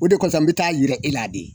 O de kɔsɔn n be taa yira e la de